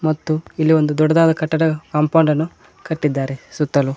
ಮತ್ತು ಇಲ್ಲಿ ಒಂದು ದೊಡ್ಡದಾದ ಕಟ್ಟಡ ಕಾಂಪೌಂಡ್ ಅನ್ನು ಕಟ್ಟಿದ್ದಾರೆ ಸುತ್ತಲೂ --